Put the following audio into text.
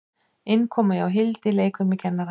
Innkoma hjá Hildi leikfimikennara.